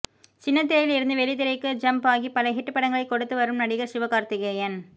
சின்னத்திரையில் இருந்து வெள்ளித்திரைக்கு ஜம்ப் ஆகி பல ஹிட் படங்களை கொடுத்து வரும் நடிகர் சிவகார்த்திகேயன்